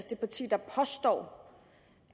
det parti der påstår